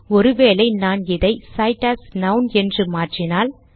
ஒரு வேளை நான் இதை cite as நான் என்று மாற்றினால்